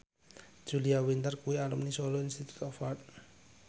Julia Winter kuwi alumni Solo Institute of Art